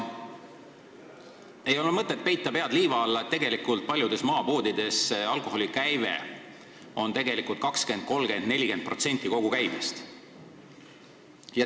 Ei ole mõtet pead liiva alla peita: paljudes maapoodides moodustab alkoholikäive tegelikult 20, 30 või 40% kogu käibest.